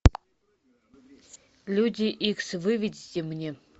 люди икс выведите мне